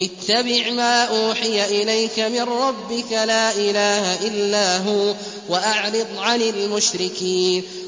اتَّبِعْ مَا أُوحِيَ إِلَيْكَ مِن رَّبِّكَ ۖ لَا إِلَٰهَ إِلَّا هُوَ ۖ وَأَعْرِضْ عَنِ الْمُشْرِكِينَ